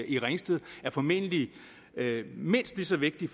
i ringsted er formentlig mindst lige så vigtig